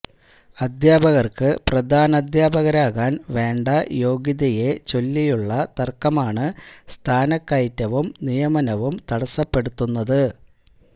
അധ്യാപകര്ക്ക് പ്രധാനാധ്യാപകരാകാന് വേണ്ട യോഗ്യതയെ ചൊല്ലിയുള്ള തര്ക്കമാണ് സ്ഥാനക്കയറ്റവും നിയമനവും തടസപ്പെടുത്തുന്നത്